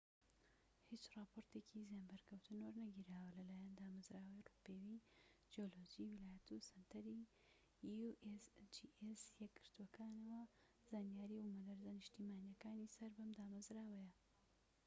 هیچ راپۆرتێکی زیانبەرکەوتن وەرنەگیراوە لەلایەن دامەزراوەی ڕووپێوی جیۆلۆجی ویلایەتە یەکگرتووەکانەوە usgs و سەنتەری زانیاری بومەلەرزە نیشتیمانیەکانی سەر بەم دامەزراوەیە